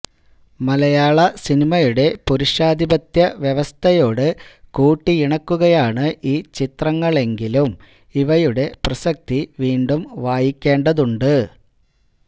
മലയാള സിനിമായുടെ പുരുഷാധിപത്യ വ്യവസ്ഥയോട് കൂട്ടിയിണക്കുകയാണ് ഈ ചിത്രങ്ങളെങ്കിലും ഇവയുടെ പ്രസക്തി വീണ്ടും വായിക്കേണ്ടതുണ്ട്